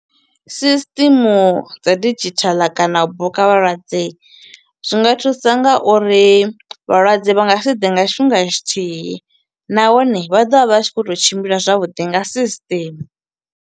Sisṱimu dza didzhithala kana u buka vhalwadze zwi nga thusa nga uri vhalwadze vha nga si ḓe nga tshifhinga tshithihi nahone vha ḓovha vha tshi kho to tshimbila zwavhuḓi nga system.